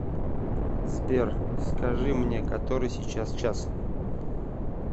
сбер скажи мне который сейчас час